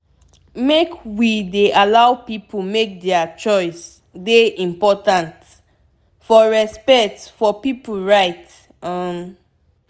make we dey allow pipu make dier choice dey important for respect for pipu right um